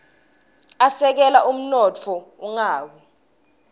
asekela umnotfo ungawia